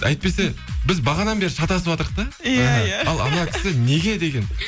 әйтпесе біз бағанадан бері шатасыватырық да иә иә ал мына кісі неге деген